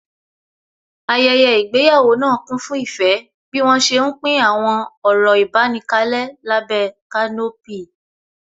Ayẹyẹ ìgbéyàwó náà kún fún ìfẹ́ bí wọ́n ṣé ń pín àwọn ọ̀rọ̀ ìbánikalẹ́ lábẹ́ kanopí